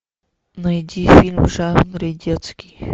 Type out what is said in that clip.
найди фильм в жанре детский